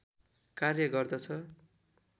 कार्य गर्दछ